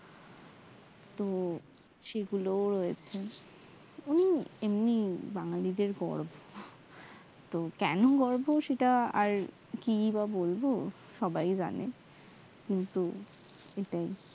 তো সেগুল এরকম এমনি বাঙ্গালিদের গর্ভ তো কেমন গর্ভ সেটা আর কি বা বলব সবাই যানে